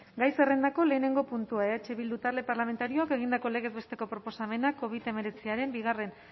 gai zerrendako lehenengo puntua eh bildu talde parlamentarioak egindako legez besteko proposamena covid hemeretziaren bigarren